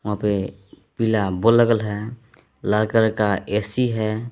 वहां पे पीला बल्ब लगा है लाल कलर का एक ए_सी है।